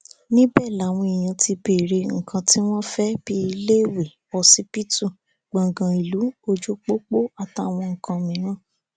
níbẹ làwọn èèyàn ti béèrè nǹkan tí wọn fẹ bíi iléèwé ọsibítù gbọngàn ìlú ojúpopo àtàwọn nǹkan míì